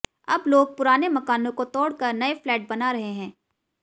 अब लोग पुराने मकानों को तोड़कर नये फ्लैट बना रहे हैं